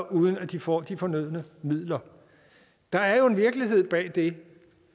uden at de får de fornødne midler der er jo en virkelighed bag det